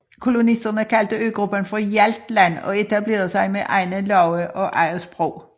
Kolonisterne kaldte øgruppen for Hjaltland og etablerede sig med egne love og eget sprog